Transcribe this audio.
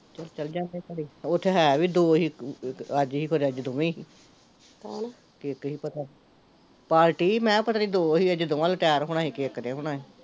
ਚੱਲ ਚੱਲ ਜਾਂਦੇ, ਓਥੇ ਹੈ ਵੀ ਦੋ ਸੀ ਇੱਕ ਅੱਜ ਸੀ ਇੱਕ ਖਰੇ ਦੋਵੇ ਸੀ ਹਮ ਕੀ ਕੀ ਪਤਾ ਪਾਰਟੀ ਮੈਂ ਕਿਹਾ ਪਤਾ ਨੀ ਅੱਜ ਦੋ ਸੀ, ਪਤਾ ਨੀ ਦੋਹਾਂ ਲਟੇਰ ਹੋਣਾ ਸੀ ਪਤਾ ਨੀ ਇੱਕ ਨੇ ਹੋਣਾ ਸੀ